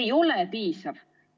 Ei ole piisav.